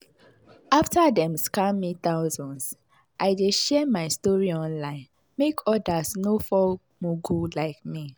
after dem scam me thousands i dey share my story online make others no fall mugu like me.